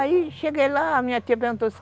Aí, cheguei lá, minha tia perguntou isso.